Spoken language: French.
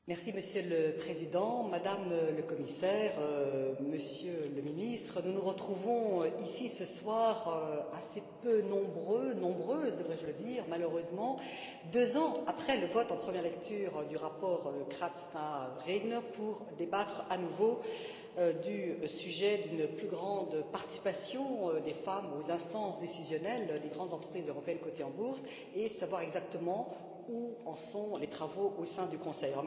Monsieur le Président, Madame la Commissaire, Monsieur le Ministre, nous nous retrouvons, ici, ce soir, assez peu nombreux nombreuses devrais je dire malheureusement, deux ans après le vote en première lecture du rapport Kratsa Regner, pour débattre à nouveau du sujet d'une plus grande participation des femmes aux instances décisionnelles des grandes entreprises européennes cotées en bourse et savoir exactement où en sont les travaux au sein du Conseil.